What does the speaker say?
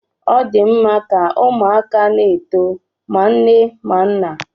Ọ dị mma ka ụmụaka na-eto ma nna ma nne